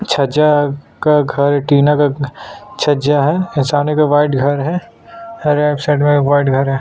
छज्जा का घर टीना का घ छज्जा है सामने में वाइट घर है राइट साइड वाइट घर है।